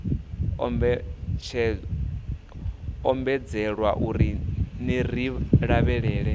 ombedzelwa uri ner i lavhelela